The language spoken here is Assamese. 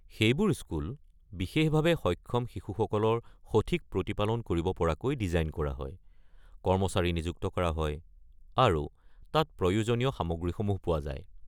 সেইবোৰ স্কুল বিশেষভাৱে সক্ষম শিশুসকলৰ সঠিক প্ৰতিপালন কৰিব পৰাকৈ ডিজাইন কৰা হয়, কৰ্মচাৰী নিযুক্ত কৰা হয় আৰু তাত প্ৰয়োজনীয় সামগ্ৰীসমূহ পোৱা যায়।